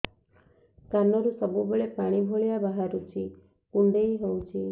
କାନରୁ ସବୁବେଳେ ପାଣି ଭଳିଆ ବାହାରୁଚି କୁଣ୍ଡେଇ ହଉଚି